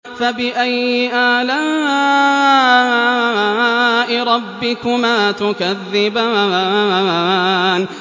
فَبِأَيِّ آلَاءِ رَبِّكُمَا تُكَذِّبَانِ